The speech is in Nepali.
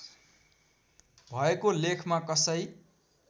भएको लेखमा कसै